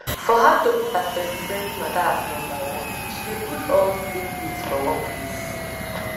for her to put her spendispendi matter as nombaone she dey put all di same bills for one place